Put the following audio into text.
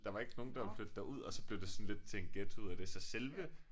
Der var ikke nogen der ville flytte derud og så blev det sådan lidt til en ghetto ud af det så selve